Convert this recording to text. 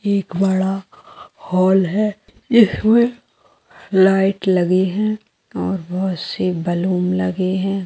एक बड़ा हॉल है इसमें लाइट लगे हैं और बहुत से बैलून लगे हैं।